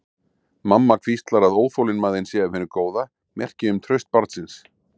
Mamma hvíslar að óþolinmæðin sé af hinu góða, merki um traust barnsins.